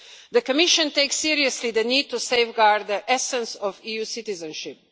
The Commission takes seriously the need to safeguard the essence of EU citizenship.